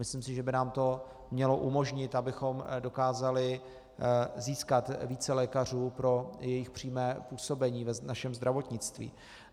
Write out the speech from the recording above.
Myslím si, že by nám to mělo umožnit, abychom dokázali získat více lékařů pro jejich přímé působení v našem zdravotnictví.